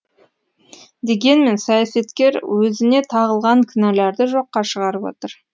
дегенмен саясаткер өзіне тағылған кінәларды жоққа шығарып отыр